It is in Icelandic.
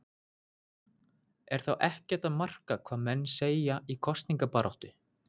Er þá ekkert að marka hvað menn segja í kosningabaráttu?